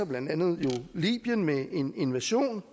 blandt andet libyen med en invasion